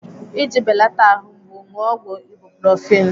Iji belata ahụ mgbu, ṅụọ ọgwụ ibuprofen.